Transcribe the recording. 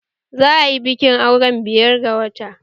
Za a yi bikin auren biyar ga wata